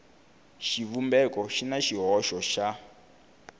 xivumbeko xi na xihoxo xa